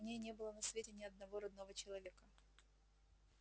у ней не было на свете ни одного родного человека